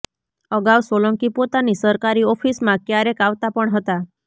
અગાઉ સોલંકી પોતાની સરકારી ઓફિસમાં ક્યારેક આવતા પણ હતા